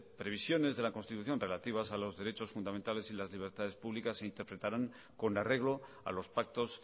previsiones de la constitución relativas a los derechos fundamentales y las libertades públicas se interpretarán con arreglo a los pactos